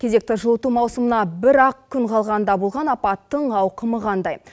кезекті жылыту маусымына бірақ күн қалғанда болған апаттың ауқымы қандай